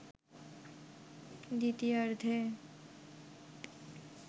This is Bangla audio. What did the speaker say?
দ্বিতীয়ার্ধে